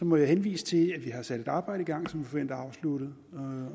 må jeg henvise til at vi har sat et arbejde i gang som vi forventer afsluttet